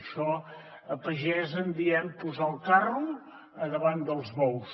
això a pagès en diem posar el carro davant dels bous